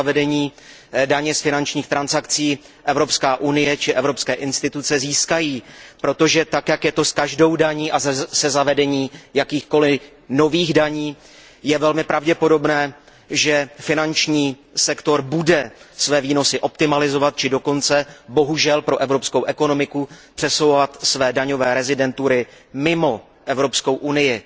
ze zavedení daně z finančních transakcí Evropská unie či evropské instituce získají, protože tak, jak je to s každou daní a se zavedením jakýchkoliv nových daní, je velmi pravděpodobné, že finanční sektor bude své výnosy optimalizovat či dokonce bohužel pro evropskou ekonomiku přesouvat své daňové rezidentury mimo Evropskou unii.